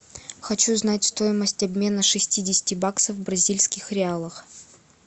хочу знать стоимость обмена шестидесяти баксов в бразильских реалах